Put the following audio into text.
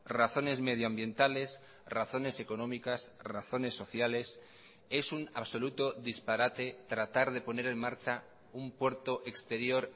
razones medioambientales razones económicas razones sociales es un absoluto disparate tratar de poner en marcha un puerto exterior